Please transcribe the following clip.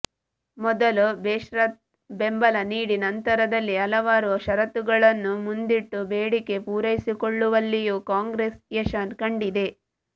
ಮೊದಲು ಬೇಷರತ್ ಬೆಂಬಲ ನೀಡಿ ನಂತರದಲ್ಲಿ ಹಲವಾರು ಷರತ್ತುಗಳನ್ನು ಮುಂದಿಟ್ಟು ಬೇಡಿಕೆ ಪೂರೈಸಿಕೊಳ್ಳುವಲ್ಲಿಯೂ ಕಾಂಗ್ರೆಸ್ ಯಶ ಕಂಡಿದೆ